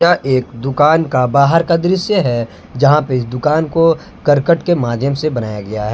यह एक दुकान का बाहर का दृश्य है जहां पे इस दुकान को करकट के माध्यम से बनाया गया है।